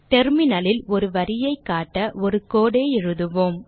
Terminal லில் ஒரு வரியைக் காட்ட ஒரு code ஐ எழுதுவோம்